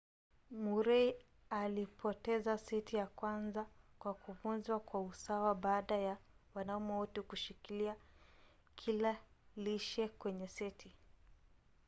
murray alipoteza seti ya kwanza kwa kuvunjwa kwa usawa baada ya wanaume wote kushikilia kila lishe kwenye seti